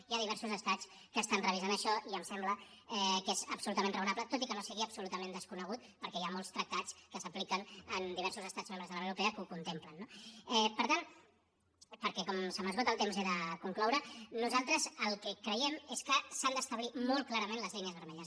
hi ha diversos estats que estan revisant això i em sembla que és absolutament raonable tot i que no sigui absolutament desconegut perquè hi ha molts tractats que s’apliquen en diversos estats membres de la unió europea que ho contemplen no per tant perquè com se m’esgota el temps he de concloure nosaltres el que creiem és que s’han d’establir molt clarament les línies vermelles